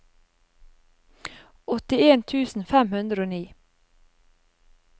åttien tusen fem hundre og ni